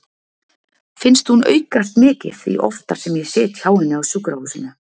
Finnst hún aukast mikið því oftar sem ég sit hjá henni á sjúkrahúsinu.